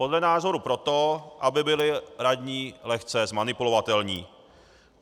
Podle názoru proto, aby byli radní lehce zmanipulovatelní.